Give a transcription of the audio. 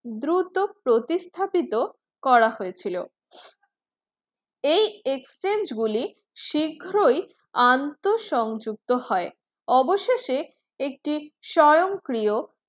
দ্রুত প্রতিস্থাপিত করা হয়েছিল এই exchange গুলি শীঘ্রই আন্তঃসংযুক্ত হয়, অবশেষে একটি স্বয়ংক্রিয়